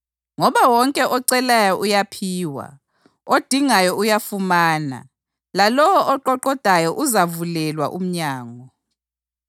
Ngoba wonke ocelayo uyaphiwa; odingayo uyafumana; lalowo oqoqodayo uzavulelwa umnyango.